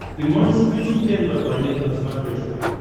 ты можешь включить тнв планета на смотрешке